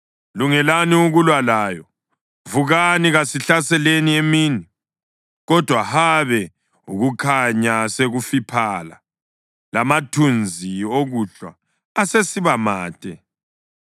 “Lungelani ukulwa layo! Vukani, kasihlaseleni emini! Kodwa, habe, ukukhanya sekufiphala, lamathunzi okuhlwa asesiba made.